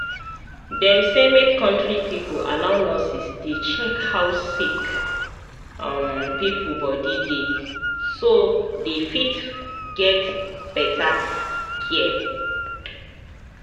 dem say make country people allow nurses dey check how sick um pipo body dey so dey fit get better care.